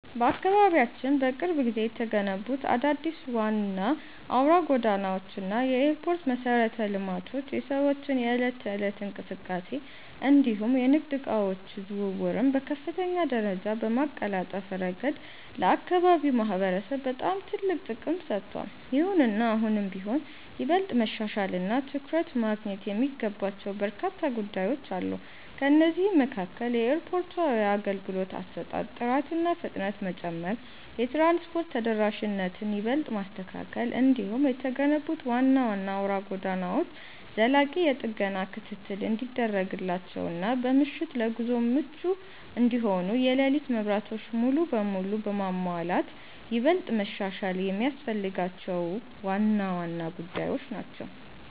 በአካባቢያችን በቅርብ ጊዜ የተገነቡት አዳዲስ ዋና አውራ ጎዳናዎች እና የኤርፖርት መሠረተ ልማቶች የሰዎችን የዕለት ተዕለት እንቅስቃሴ እንዲሁም የንግድ ዕቃዎች ዝውውርን በከፍተኛ ደረጃ በማቀላጠፍ ረገድ ለአካባቢው ማህበረሰብ በጣም ትልቅ ጥቅም ሰጥተዋል። ይሁንና አሁንም ቢሆን ይበልጥ መሻሻልና ትኩረት ማግኘት የሚገባቸው በርካታ ጉዳዮች አሉ። ከእነዚህም መካከል የኤርፖርቱ የአገልግሎት አሰጣጥ ጥራትና ፍጥነት መጨመር፣ የትራንስፖርት ተደራሽነትን ይበልጥ ማስተካከል፣ እንዲሁም የተገነቡት ዋና ዋና አውራ ጎዳናዎች ዘላቂ የጥገና ክትትል እንዲደረግላቸውና በምሽት ለጉዞ ምቹ እንዲሆኑ የሌሊት መብራቶች ሙሉ በሙሉ መሟላት ይበልጥ መሻሻል የሚያስፈልጋቸው ዋና ዋና ጉዳዮች ናቸው።